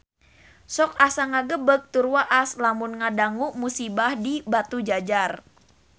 Sok asa ngagebeg tur waas lamun ngadangu musibah di Batujajar